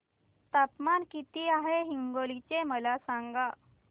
तापमान किती आहे हिंगोली चे मला सांगा